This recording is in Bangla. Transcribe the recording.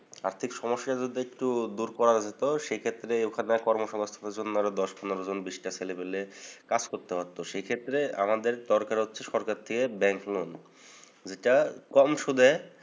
আর্থিক সমস্যা যদি একটু দূর করা যেতো। সেক্ষেত্রে ওখানের কর্মসংস্থানদের জন্য আরো দশ পনেরোজন বিশটা ছেলেবেলে কাজ করতে পারতো। সেক্ষেত্রে আমাদের দরকার হচ্ছে সরকার থেকে ব্যাংক loan নেওয়া। যেটা কম সুদে